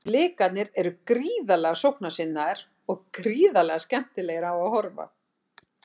Blikarnir eru gríðarlega sóknarsinnaðir og gríðarlega skemmtilegir á að horfa.